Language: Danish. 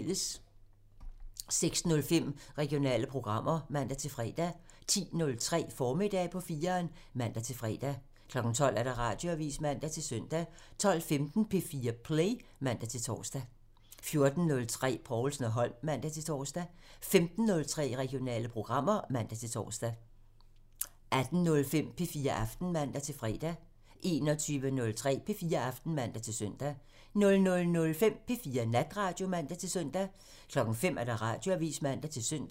06:05: Regionale programmer (man-fre) 10:03: Formiddag på 4'eren (man-fre) 12:00: Radioavisen (man-søn) 12:15: P4 Play (man-tor) 14:03: Povlsen & Holm (man-tor) 15:03: Regionale programmer (man-tor) 18:05: P4 Aften (man-fre) 21:03: P4 Aften (man-søn) 00:05: P4 Natradio (man-søn) 05:00: Radioavisen (man-søn)